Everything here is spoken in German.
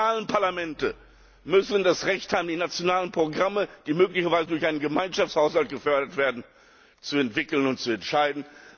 Die nationalen Parlamente müssen das Recht haben, die nationalen Programme, die möglicherweise durch einen Gemeinschaftshaushalt gefördert werden, zu entwickeln und zu entscheiden.